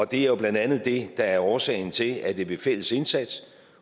det er blandt andet det der er årsagen til at det ved fælles indsats